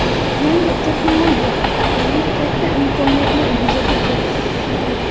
Yangi texnologiyalar tufayli katta imkoniyatlar yuzaga kelmoqda.